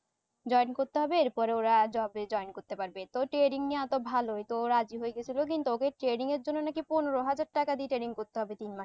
join করতে হবে এর পরে ওরা job এ join করতে পারবে তো trading নেওয়া তো ভালোই তো রাজি হয়ে গেসিলো কিন্তু ওদের trআ ding এর জন্য নাকি পনেরো হাজার টাকা দিয়ে training করতে হবে তিন মাস।